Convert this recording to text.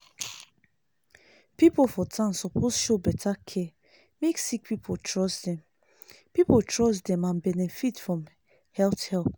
people for town suppose show better care make sick people trust dem people trust dem and benefit from health help.